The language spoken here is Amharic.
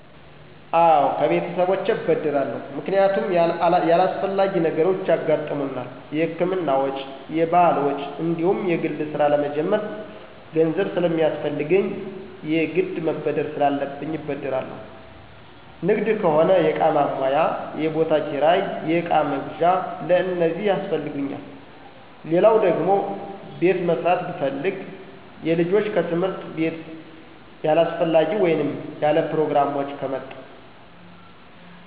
አወ ከቤተሰቦቸ እበደራለሁ ምክንያቱም ያላሥፈላጊ ነገሮች ያገሠጥሙናል የህክምና ወጭ፣ የባህል ወጭ፣ እንዲሁም የግል ስራ ለመጀመር ገንዘብ ስለሚያስፈለሰገኝ የግድ መበደር ስላለብኝ እበደራለሁ። ንግድ ከሆነ የእቃ ማሟያ፣ የቦታ ክራይ፣ የእቃ መግዣ፣ ለእነዚህ ያሥፈልጉኛል። ሌለው ደግሟ ቤት መሦራት ብፈልግ፣ የልጆች ከትምህርት ቤትያላሥፈላጊ ወይንም ያለፕሮግራም ወጭ ከመጣ።